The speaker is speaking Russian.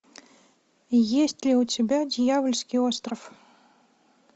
есть ли у тебя дьявольский остров